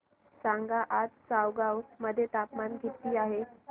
सांगा आज चौगाव मध्ये तापमान किता आहे